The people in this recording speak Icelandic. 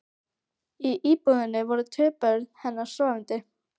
Í íbúðinni voru tvö börn hennar sofandi.